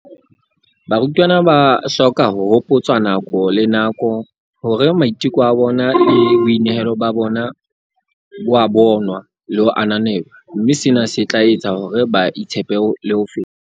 "Barutwana ba hloka ho hopotswa nako le nako hore maiteko a bona le boinehelo ba bona bo a bonwa le ho ananelwa, mme sena se tla etsa hore ba itshepe ho feta."